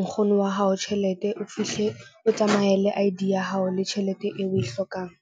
nkgono wa hao tjhelete. O fihle o tsamaye le I_D ya hao le tjhelete eo o e hlokang.